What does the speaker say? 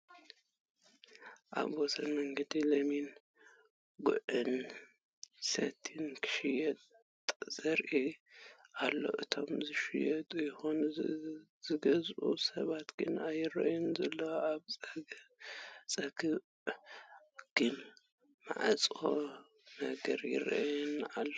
ኣብ ወሰን መገዲ ለሚን፣ ጉዕን ሰቲን ንኽሽየጥ ተዘርጊሑ ኣሎ እቶም ዝሸጡ ይኹኑ ዝገዝእ ሰብ ግን ኣይረኣይን ዘሎ፡ ኣብ ፀግዑ ግን ማዕፆ ነገር ይረኣይ ኣሎ ።